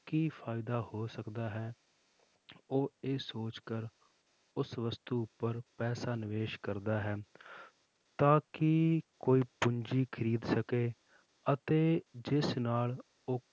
ਕੀ ਫ਼ਾਇਦਾ ਹੋ ਸਕਦਾ ਹੈ ਉਹ ਇਸ ਸੋਚ ਕਰ ਉਸ ਵਸਤੂ ਉੱਪਰ ਪੈਸਾ ਨਿਵੇਸ ਕਰਦਾ ਹੈ ਤਾਂ ਕਿ ਕੋਈ ਪੂੰਜੀ ਖ਼ਰੀਦ ਸਕੇ ਅਤੇ ਜਿਸ ਨਾਲ ਉਹ